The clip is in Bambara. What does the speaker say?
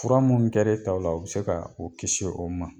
Fura mun kɛra e taw o bɛ se ka u kiisi o ma.